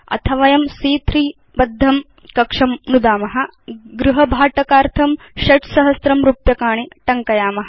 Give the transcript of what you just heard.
अथ वयं सी॰॰3 बद्धं कक्षं नुदाम गृहभाटकार्थं हाउस रेन्ट् च 6000 रूप्यकाणि रुपीस् 6000 टङ्कयाम